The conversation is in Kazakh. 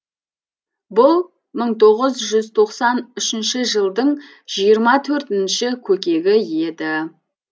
бұл мың тоғыз жүз тоқсан үшінші жылдың жиырма төртінші көкегі еді